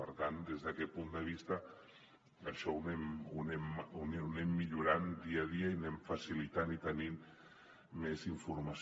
per tant des d’aquest punt de vista això ho anem millorant dia a dia i anem facilitant i tenint més informació